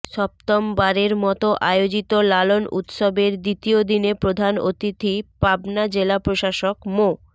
সপ্তমবারের মত আয়োজিত লালন উৎসবের দ্বিতীয় দিনের প্রধান অতিথি পাবনা জেলা প্রশাসক মো